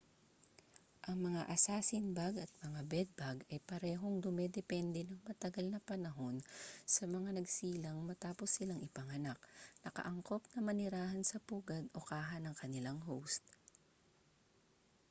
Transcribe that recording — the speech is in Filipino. ang mga assassin-bug at mga bed-bug ay parehong dumedepende nang matagal na panahon sa mga nagsilang matapos silang ipanganak nakaangkop na manirahan sa pugad o kaha ng kanilang host